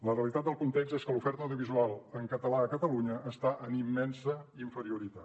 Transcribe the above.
la realitat del context és que l’oferta audiovisual en català a catalunya està en immensa inferioritat